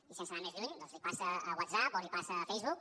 i sense anar més lluny doncs li passa a whatsapp o li passa a facebook